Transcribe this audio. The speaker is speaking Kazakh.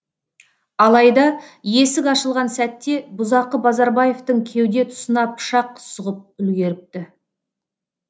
алайда есік ашылған сәтте бұзақы базарбаевтың кеуде тұсына пышақ сұғып үлгеріпті